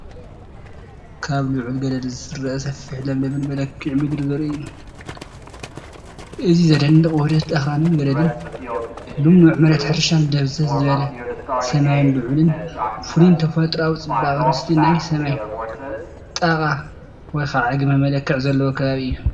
ካብ ልዑል ገደል ዝርአ ሰፊሕን ለምለምን መልክዓ ምድሪ ዘርኢ እዩ። እዚ ዘደንቕ ውህደት ኣኽራንን ገደልን፡ ልሙዕ መሬት ሕርሻን ድብዝዝ ዝበለ ሰማይን ልዑልን ፍሉይን ተፈጥሮኣዊ ጽባቐ ምስቲ ናይ ሰማይ ጣቓ /ግመ መልክዕ ዘለዎ ከባቢ እዩ።